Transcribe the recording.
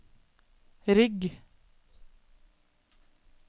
rygg